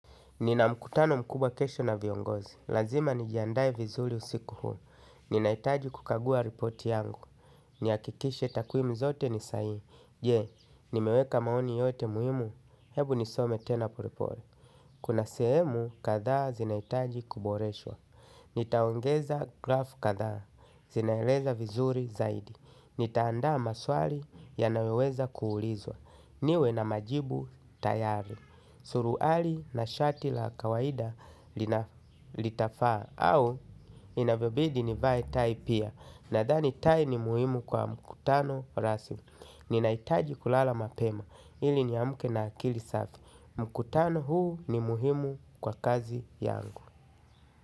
Nina mkutano mkubwa kesho na viongozi. Lazima nijandae vizuri usiku huo. Ninahitaji kukagua ripoti yangu. Nihakikishe takwimu zote ni sahihi. Je, nimeweka maoni yote muhimu. Hebu nisome tena polepole. Kuna sehemu, kadhaa zinahitaji kuboreshwa. Nitaongeza graf kadhaa. Zinaeleza vizuri zaidi. Nitaandaa maswali yanayoweza kuulizwa. Niwe na majibu tayari. Suruali na shati la kawaida litafaa. Au inavyobidi nivae tai pia. Nadhani tai ni muhimu kwa mkutano rasmi. Ninahitaji kulala mapema ili niamke na akili safi. Mkutano huu ni muhimu kwa kazi yangu.